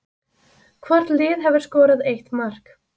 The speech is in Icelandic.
Hvort lið hefur skorað eitt mark